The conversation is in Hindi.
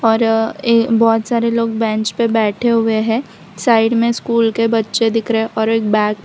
और ए बहोत सारे लोग बेंच पे बैठे हुए हैं साइड में स्कूल के बच्चे दिख रहा है और एक बैग --